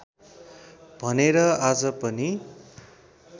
भनेर आज पनि